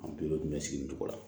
An bɛɛ tun bɛ sigi nin cogo la